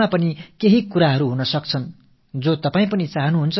உங்கள் மனங்களில் நீங்கள் தெரிவிக்க விரும்பும் ஏதோ ஒரு விஷயம் இருக்கலாம்